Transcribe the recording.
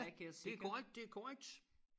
Ja det korrekt det korrekt